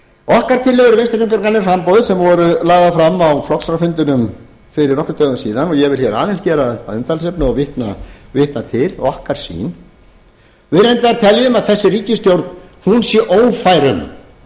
okkar tillögur vinstri hreyfingarinnar græns framboðs sem voru lagðar fram á flokksráðsfundinum fyrir nokkrum dögum síðan og ég vil hér aðeins gera að umtalsefni og vitna til okkar sýn við reyndar teljum að þessi ríkisstjórn sé ófær um að taka á málum